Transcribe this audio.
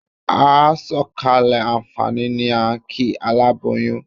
A sọ̀kalẹ̀ àǹfààní ni à ń kí aláboyún.